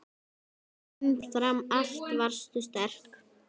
Umfram allt varstu sterk.